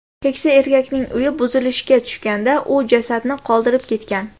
Keksa erkakning uyi buzilishga tushganda, u jasadni qoldirib ketgan.